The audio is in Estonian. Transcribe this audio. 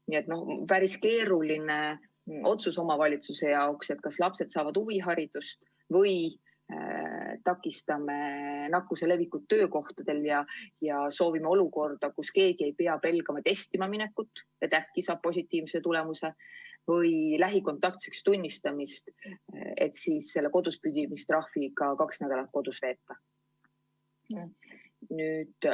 Nii et päris keeruline otsus omavalitsuse jaoks: kas lapsed saavad huviharidust või takistame nakkuse levikut töökohtadel ja soovime olukorda, kus keegi ei pea pelgama testima minekut, et äkki saab positiivse tulemuse või tunnistatakse lähikontaktseks ja siis peab selle kodus püsimise trahviga kaks nädalat kodus veetma.